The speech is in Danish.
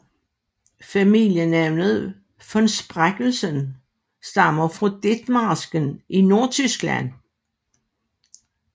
Familienavnet von Spreckelsen stammer fra Ditmarsken i Nordtyskland